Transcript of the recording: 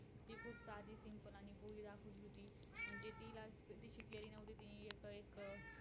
अ एकाच स्थितीत बरात बराच वेळ बसणे एकाच ठिकाणी अधिक बसणे इत्यादी व अन्य अनेक कारणांनी आपल्या मास पेशीवर स्नायूंवर ताण पडतो वेदना होतात.